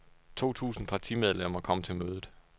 To tusind partimedlemmer kom til mødet.